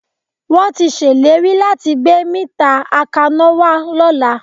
Wọ́n tí ṣèlérí láti gbé mítà akaná wá lọ́la